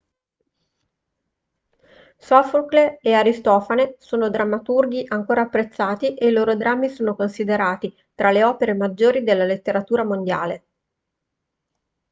sofocle e aristofane sono drammaturghi ancora apprezzati e i loro drammi sono considerati tra le opere maggiori della letteratura mondiale